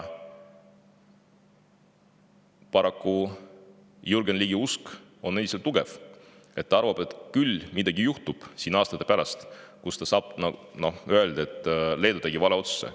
Paraku on Jürgen Ligi usk endiselt tugev: ta arvab, et küll midagi juhtub aastate pärast ja ta saab öelda, et, noh, Leedu tegi vale otsuse.